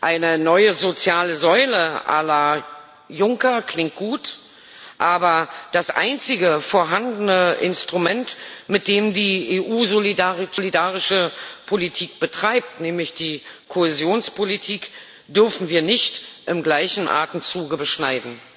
Eine neue soziale Säule la Juncker klingt gut, aber das einzige vorhandene Instrument, mit dem die EU solidarische Politik betreibt, nämlich die Kohäsionspolitik, dürfen wir nicht im gleichen Atemzuge beschneiden.